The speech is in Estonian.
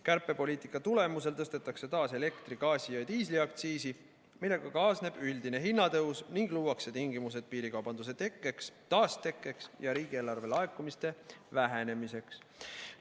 Kärpepoliitika tulemusel tõstetakse taas elektri-, gaasi- ja diisliaktsiisi, millega kaasneb üldine hinnatõus ning luuakse tingimused piirikaubanduse taastekkeks ja riigieelarve laekumiste vähenemiseks.